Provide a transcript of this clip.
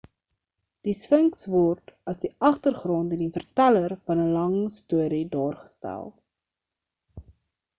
die sphinks word as die agtergrond en die verteller van 'n lang storie daargestel